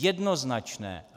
Jednoznačné.